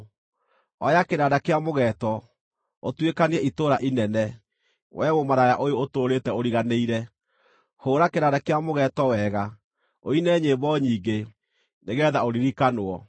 “Oya kĩnanda kĩa mũgeeto, ũtuĩkanie itũũra inene, wee mũmaraya ũyũ ũtũũrĩte ũriganĩire; Hũũra kĩnanda kĩa mũgeeto wega, ũine nyĩmbo nyingĩ, nĩgeetha ũririkanwo.”